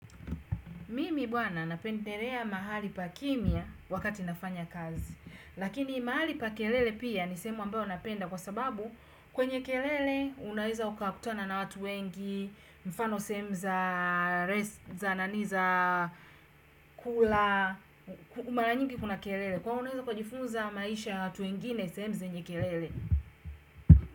Mimi bwana napendelea mahali pakimya wakati nafanya kazi. Lakini mahali pa kelele pia ni sehemu ambayo napenda kwa sababu kwenye kelele unaweza ukakutana na watu wengi, mfano sehemu za, res, za nani za, kula, mara nyingi kuna kelele. Kwa hiyo unaweza ukajifunza maisha ya watu wengine sehemu zenye kelele.